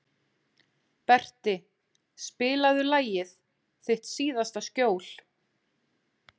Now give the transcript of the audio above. Berti, spilaðu lagið „Þitt síðasta skjól“.